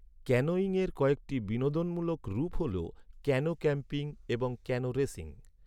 ক্যানোয়িংয়ের কয়েকটি বিনোদনমূলক রূপ হল ক্যানো ক্যাম্পিং এবং ক্যানো রেসিং।